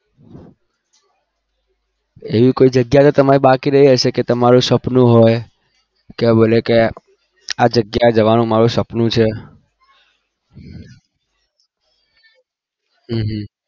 એવું કઈ જયા બાકી રહી ગઈ છે કે ત્યાં જવાનું તમારું સપનું હોય